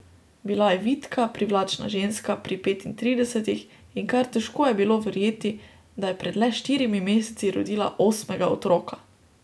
Bila je vitka, privlačna ženska pri petintridesetih in kar težko je bilo verjeti, da je pred le štirimi meseci rodila osmega otroka.